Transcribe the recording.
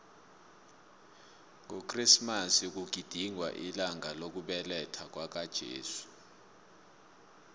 ngokresimasi kugidingwa ilanga lokubelethwakwaka jesu